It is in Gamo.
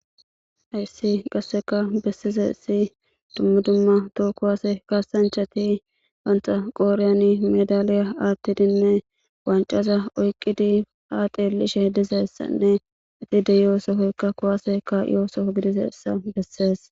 Hayisiy qasseka bessize si dummu dumma too kowase kaasanchati wanta qooreyani medaliya aattidinne wancaza oyqqidi ha teelishe dizeessanne eti de yoosohoykka kuwaseka iyoosoo gidizeessa bessees